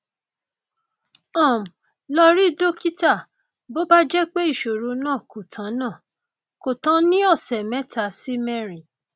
um lọ rí dókítà bó bá jẹ pé ìṣòro náà kò tán náà kò tán ní ọsẹ mẹta sí mẹrin